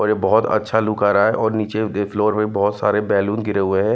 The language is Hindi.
ओर ये बहोत अच्छा लुक आ रहा है और नीचे के फ्लोर में बहोत सारे बैलून गिरे हुए हैं।